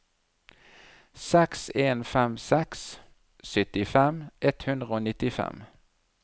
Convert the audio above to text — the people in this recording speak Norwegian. seks en fem seks syttifem ett hundre og nittifem